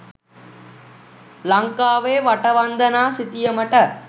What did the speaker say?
ලංකාවේ වටවන්දනා සිතියමට